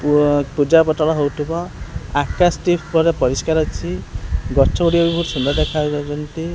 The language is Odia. ପୁଅ ପୂଜା ପଟଣା ହୋଉଥିବ ଆକାଶ ଟି ପୁର ପରିଷ୍କାର ଅଛି ଗଛ ଗୁଡିକ ବହୁତ ସୁନ୍ଦର ଦେଖା ଯାଉଛନ୍ତି।